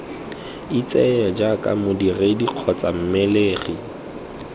itseye jaaka modiredi kgotsa mmelegi